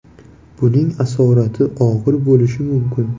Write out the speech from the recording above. Buning asoratlari og‘ir bo‘lishi mumkin.